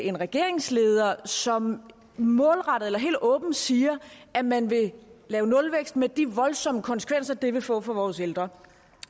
en regeringsleder som målrettet eller helt åbent siger at man vil lave nulvækst med de voldsomme konsekvenser det vil få for vores ældre